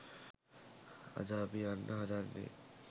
අද අපි යන්න හදන්නේ